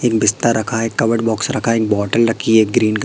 एक बिस्तर रखा है कबर्ड बॉक्स रखा है एक बॉटल रखी है ग्रीन क--